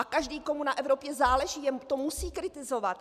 A každý, komu na Evropě záleží, to musí kritizovat.